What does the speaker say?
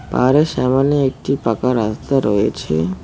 আরো সামনে একটি পাকা রাস্তা রয়েছে।